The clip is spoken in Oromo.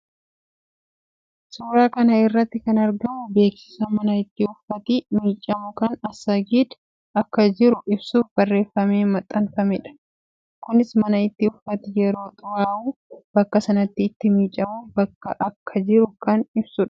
Suuraa kana irratti kan argamu beeksisa mana itti uffati miicamu kan Assagid akka jiru ibsuuf barreeffama maxxanfameedha. Kunis mana itti uffati yeroo xuraawwu bakka sanatti itti miicuuf bakki akka jiru kan ibsuudha.